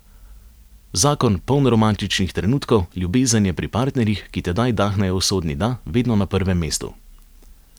Zakon, poln romantičnih trenutkov, ljubezen je pri partnerjih, ki tedaj dahnejo usodni da, vedno na prvem mestu.